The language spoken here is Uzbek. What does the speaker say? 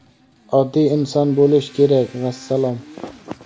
Oddiy inson bo‘lish kerak, vassalom.